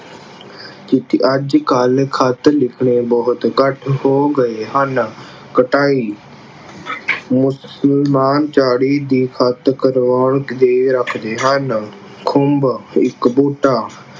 ਚਿੱਠੀ ਅਹ ਅੱਜ ਕੱਲ ਖ਼ਤ ਲਿਖਣੇ ਬਹੁਦ ਘੱਟ ਹੋ ਗਏ ਹਨ। ਕਟਾਈ ਮੁਸਲਮਾਨ ਝਾੜੀ ਦੀ ਖਤ ਕਟਵਾ ਕੇ ਰੱਖਦੇ ਹਨ। ਖੁੰਭ ਇੱਕ ਬੂਟਾ